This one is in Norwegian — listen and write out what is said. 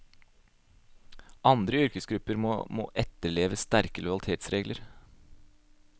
Andre yrkesgrupper må etterleve sterke lojalitetsregler.